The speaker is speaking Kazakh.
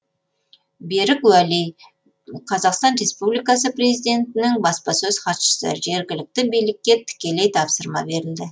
берік уәли қазақстан республикасы президентінің баспасөз хатшысы жергілікті билікке тікелей тапсырма берілді